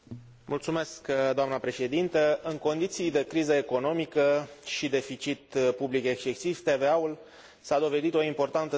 În condiții de criză economică și deficit public excesiv, TVA ul s a dovedit o importantă sursă de venit pentru bugetele naționale.